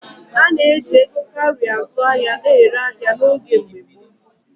A na-eji ego kaurị azụ ya na-ere ahịa n’oge mgbe gboo.